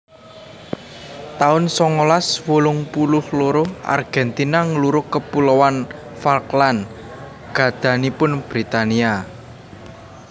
taun songolas wolung puluh loro Argentina nglurug Kepuloan Falkland gadhahanipun Britania